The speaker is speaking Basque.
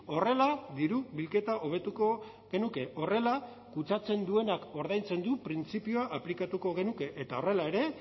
horrela diru bilketa hobetuko genuke horrela kutsatzen duenak ordaintzen du printzipioa aplikatuko genuke eta horrela ere